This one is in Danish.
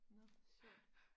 Nåh sjovt